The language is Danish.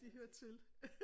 De hører til